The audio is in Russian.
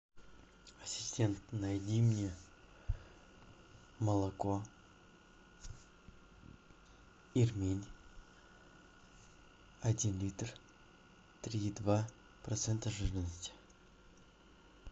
ассистент найди мне молоко ирмень один литр три и два процента жирности